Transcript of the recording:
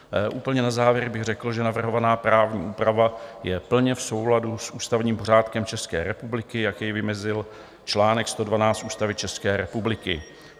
Úplně na závěr bych řekl, že navrhovaná právní úprava je plně v souladu s ústavním pořádkem České republiky, jak jej vymezil čl. 112 Ústavy České republiky.